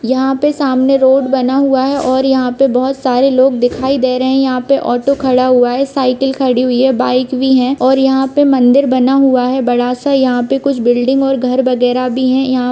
यहाँ पे सामने रोड बना हुआ है और यहाँ पे बहुत सारे लोग दिखाई दे रहे है यहाँ पे ऑटो खड़ा हुआ है साईकल खड़ी हुई है बाइक भी है और यहाँ पे मंदिर बना हुआ है बड़ा सा यहाँ पे कुछ बिल्डिंग और घर वगेरह भी है यहाँ--